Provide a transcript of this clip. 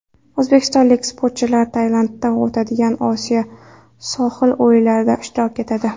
O‘zbekistonlik sportchilar Tailandda o‘tadigan Osiyo sohil o‘yinlarida ishtirok etadi.